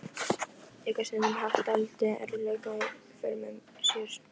En gat stundum haft dálitla erfiðleika í för með sér.